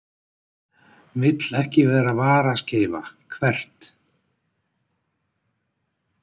Vill ekki vera varaskeifa Hvert?